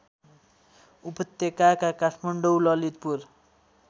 उपत्यकाका काठमाडौँ ललितपुर